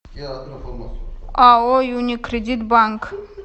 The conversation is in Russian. ао юникредит банк